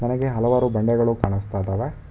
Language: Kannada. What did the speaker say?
ನನಗೆ ಹಲವಾರು ಬಂಡೆಗಳು ಕಾಣಿಸ್ತಾ ಇದ್ದಾವೆ.